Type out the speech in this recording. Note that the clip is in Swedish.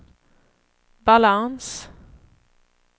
balans